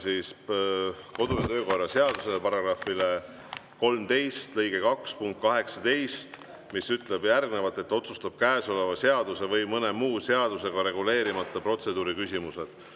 Tugineme kodu‑ ja töökorra seaduse § 13 lõike 2 punktile 18, mis ütleb, et otsustab käesoleva seaduse või mõne muu seadusega reguleerimata protseduuriküsimused.